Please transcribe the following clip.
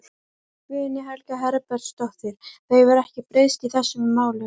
Guðný Helga Herbertsdóttir: Það hefur ekkert breyst í þessum málum?